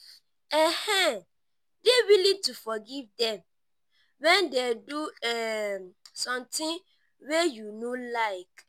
um dey willing to forgive dem when dey do um something wey you no like